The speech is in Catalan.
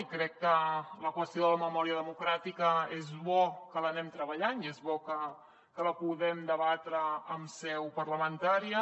i crec que la qüestió de la memòria democràtica és bo que l’anem treballant i és bo que la puguem debatre en seu parlamentària